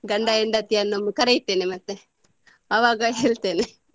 ಗಂಡ ಹೆಂಡತಿಯನ್ನು ಕರೀತೇನೆ ಮತ್ತೆ ಆವಾಗ ಹೇಳ್ತೇನೆ.